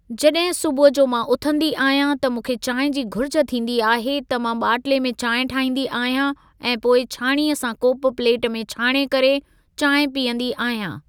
जॾहिं सुबूह जो मां उथंदी आहियां त मूंखे चांहि जी घुरिजु थींदी आहे त मां ॿाटले में चांहि ठाहींदी आहियां ऐं पोइ छाणीअ सां कोप पलेट में छाणे करे चांहि पीअंदी आहियां।